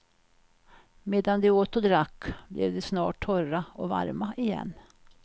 Medan de åt och drack, blev de snart torra och varma igen.